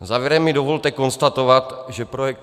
Závěrem mi dovolte konstatovat, že projekt